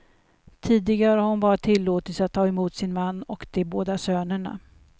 Tidigare har hon bara tillåtits att ta emot sin man och de båda sönerna.